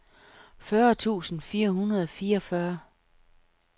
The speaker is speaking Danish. fyrre tusind fire hundrede og fireogfyrre